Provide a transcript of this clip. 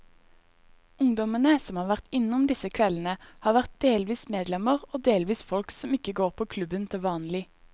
Ungdommene som har vært innom disse kveldene, har vært delvis medlemmer og delvis folk som ikke går på klubben til vanlig.